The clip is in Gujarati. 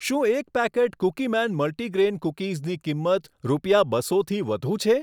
શું એક પેકેટ કૂકીમેન મલ્ટીગ્રેન કૂકીઝની કિંમત રૂપિયા બસોથી વધુ છે?